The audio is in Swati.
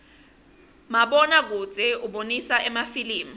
mabona kudze ubonisa emafilimu